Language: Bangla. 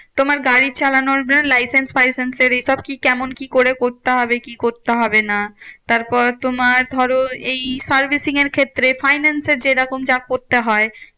তোমার গাড়ি চালানোর জন্য licence ফাইসেন্স এর এইসব কি কেমন কি করে করতে হবে? কি করতে হবে না? তারপর তোমার ধরো, এই servicing এর ক্ষেত্রে finance এর যেরকম যা করতে হয়